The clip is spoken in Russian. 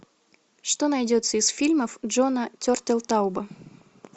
что найдется из фильмов джона тертелтауба